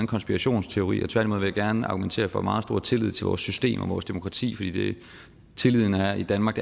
konspirationsteori tværtimod vil jeg gerne argumentere for meget stor tillid til vores system og vores demokrati fordi tilliden er i danmark